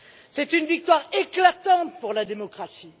C'est une victoire éclatante pour la démocratie.